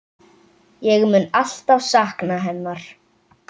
Ég mun alltaf sakna hennar.